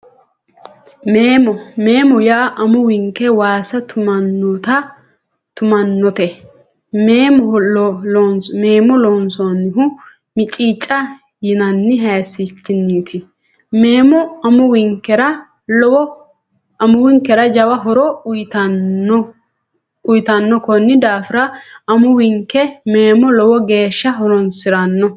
Meemo meemo yaa amuwunke waasa tu'manote meemo loonsannihu miiciica yinanni haysichiniiti meemo amuwinkera jawa horo uuyitanokonni daafira amuwinke meemo lowo geeshsha horoonsirano